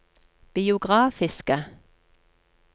biografiske